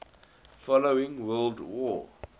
following world war